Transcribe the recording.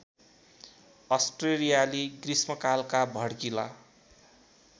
अस्ट्रेलियाली ग्रीष्मकालका भड्किला